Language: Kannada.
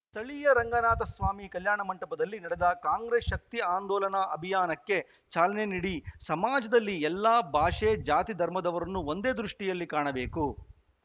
ಸ್ಥಳೀಯ ರಂಗನಾಥ ಸ್ವಾಮಿ ಕಲ್ಯಾಣ ಮಂಟಪದಲ್ಲಿ ನಡೆದ ಕಾಂಗ್ರೆಸ್‌ ಶಕ್ತಿ ಆಂದೋಲನ ಅಭಿಯಾನಕ್ಕೆ ಚಾಲನೆ ನಿಡಿ ಸಮಾಜದಲ್ಲಿ ಎಲ್ಲಾ ಭಾಷೆ ಜಾತಿ ಧರ್ಮದವರನ್ನು ಒಂದೆ ದೃಷ್ಟಿಯಲ್ಲಿ ಕಾಣಬೇಕು